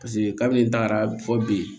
Paseke kabini n tagara fɔ bi